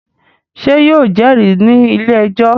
Ṣé yóò jẹ́rìí ní ilé-ẹjọ́?